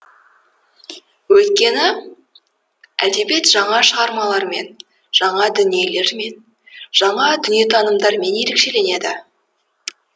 өйткені әдебиет жаңа шығармалармен жаңа дүниелермен жаңа дүниетанымдармен ерекшеленеді